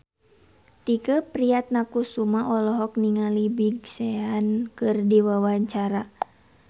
Tike Priatnakusuma olohok ningali Big Sean keur diwawancara